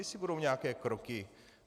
Jestli budou nějaké kroky.